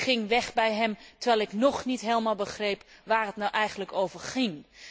Ik ging weg bij hem, terwijl ik nog niet helemaal begreep waar het nou eigenlijk over ging.